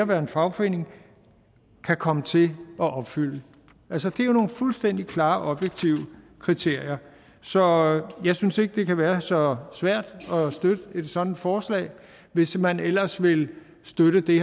være en fagforening kan komme til at opfylde altså det er jo nogle fuldstændig klare objektive kriterier så jeg synes ikke det kan være så svært at støtte et sådant forslag hvis man ellers vil støtte det